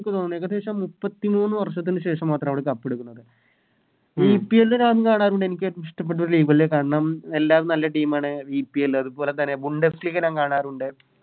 എനിക്ക് തോന്നു ഏകദേശം മുപ്പത്തിമൂന്ന് വർഷത്തിന് ശേഷമാത്ര അവര് കപ്പെടുക്കുന്നത് VPL ഞാൻ കാണാറുണ്ട് എനിക്കേറ്റോം ഇഷ്ടപ്പെട്ടൊരു League അല്ലെ കാരണം എല്ലാരും നല്ല Team ആണ് VPL അതുപോലെ Mundas league ഞാൻ കാണാറുണ്ട്